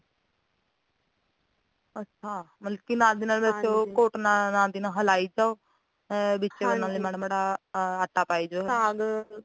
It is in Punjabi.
ਅੱਛਾ ਮਤਲੱਬ ਕੇ ਨਾਲ ਦੀ ਨਾਲ ਵਿੱਚ ਉਹ ਘੋਟਣਾ ਨਾਲ ਦੀ ਨਾਲ ਹਿਲਾਇ ਜਾਓ ਅ ਵਿੱਚ ਨਾਲੇ ਮਾੜਾ ਮਾੜਾ ਆਟਾ ਪਾਈ ਜਾਉ